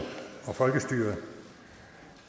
og folkestyret